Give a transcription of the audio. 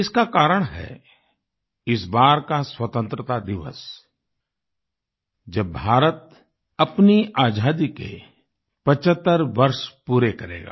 इसका कारण है इस बार का स्वतंत्रता दिवस जब भारत अपनी आज़ादी के 75 वर्ष पूरे करेगा